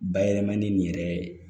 Bayɛlɛmani nin yɛrɛ